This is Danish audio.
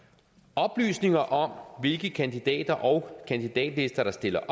oplysninger om hvilke kandidater og kandidatlister der stiller